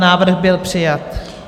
Návrh byl přijat.